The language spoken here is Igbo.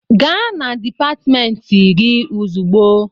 Gaa na dịpatmentị gị ozugbo!